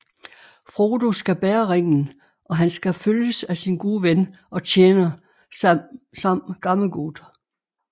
Frodo skal bære ringen og han skal følges af sin gode ven og tjener Sam Gammegod